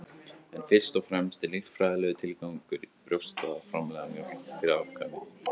en fyrst og fremst er líffræðilegur tilgangur brjósta að framleiða mjólk fyrir afkvæmi